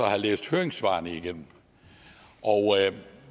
læst høringssvarene igennem og